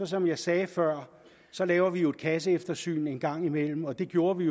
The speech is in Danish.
som jeg sagde før laver vi jo et kasseeftersyn en gang imellem og det gjorde vi